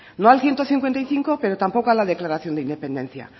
no al ciento cincuenta y cinco pero tampoco a la declaración de independencia